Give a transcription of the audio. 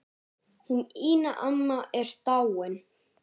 Hún Ína amma er dáin.